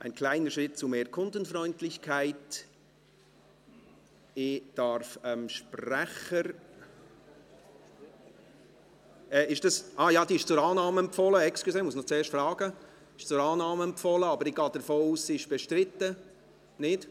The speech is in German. Wir kommen zum Traktandum 76, diese Motion ist zur Annahme empfohlen, aber ich gehe davon aus, dass sie bestritten ist.